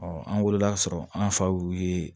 an wulila ka sɔrɔ an fa y'u ye